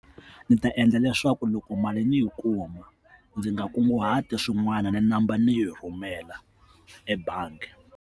Ndzi ta endla leswaku loko mali ndzi yi kuma ndzi nga kunguhati swin'wana ni namba ndzi yi rhumela ebangi.